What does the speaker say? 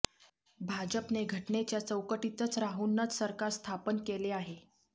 भाजपने घटनेच्या चौकटीतच राहूनच सरकार स्थापन केले आहे